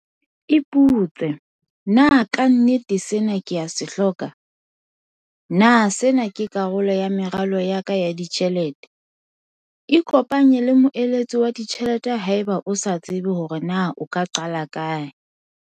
Ipotse- Na ka nnete sena ke a se hloka? Na sena ke karolo ya meralo ya ka ya ditjhelete? Ikopanye le moeletsi wa ditjhelete haeba o sa tsebe hore na o ka qala kae.